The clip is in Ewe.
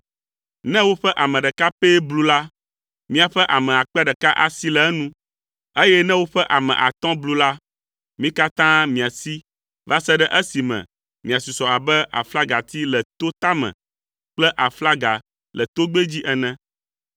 Ne woƒe ame ɖeka pɛ blu la miaƒe ame akpe ɖeka asi le enu, eye ne woƒe ame atɔ̃ blu la, mi katã miasi va se ɖe esime miasusɔ abe aflagati le to tame kple aflaga le togbɛ dzi ene.”